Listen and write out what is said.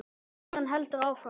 Móðirin heldur áfram.